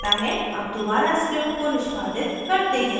अब दोबारा script को निष्पादित करते हैं